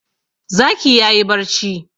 Zaki ya yi barci.